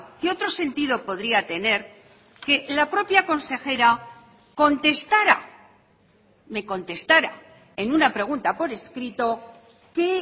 qué otro sentido podría tener que la propia consejera contestara me contestara en una pregunta por escrito que